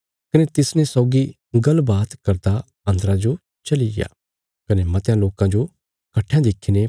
कने तिसने सौगी गल्ल बात करदा अन्दरा जो चली गया कने मत्यां लोकां जो कट्ठेयां देखीने